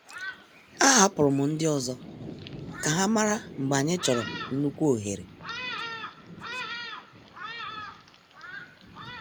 A hapụrụ m ndị ọzọ ka ha mara mgbe anyị chọrọ nnukwu ohere.